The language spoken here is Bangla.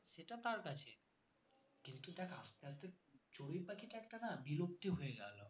সেটা তার কাছে কিন্তু দেখ আস্তে আস্তে চড়ুই পাখিটা একটা না বিলুপ্ত হয়ে